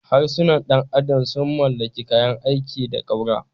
Harsunan ɗan adam sun mallaki kayan aiki da ƙaura.